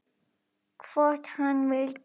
Hvort hann vildi!